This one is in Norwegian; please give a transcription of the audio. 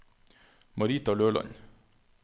Marita Løland